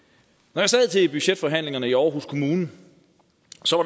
når jeg sad til budgetforhandlingerne i aarhus kommune